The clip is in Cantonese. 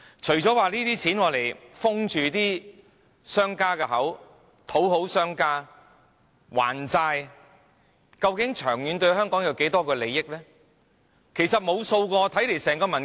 除了要用錢封住商家的口、討好商家、還債外，究竟這些政策對香港的長遠利益有多少影響？